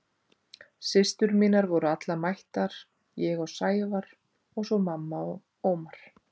Systur mínar voru allar mættar, ég og Sævar og svo mamma og Ómar.